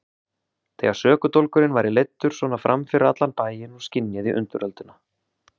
Þegar sökudólgurinn væri leiddur svona fram fyrir allan bæinn og skynjaði undirölduna.